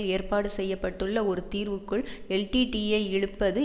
ஏற்பாடு செய்ய பட்டுள்ள ஒரு தீர்வுக்குள் எல்டிடிஇயை இழுப்பது